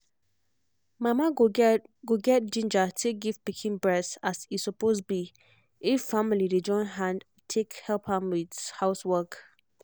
mama go get go get ginja take give pikin breast if as e suppose be if family dey join hand take help am with housework